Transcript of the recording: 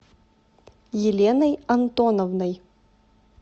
еленой антоновной